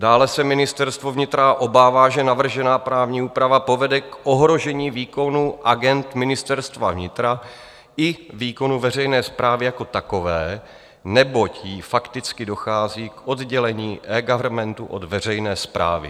Dále se Ministerstvo vnitra obává, že navržená právní úprava povede k ohrožení výkonu agend Ministerstva vnitra i výkonu veřejné správy jako takové, neboť tím fakticky dochází k oddělení eGovernmentu od veřejné správy.